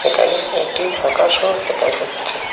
এখানে একটি আকাশ ও দেকা যাচ্ছে।